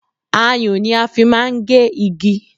Ayùn ni a fi máa ń gé igi